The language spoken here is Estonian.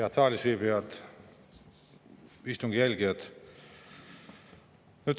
Head saalis viibijad, istungi jälgijad!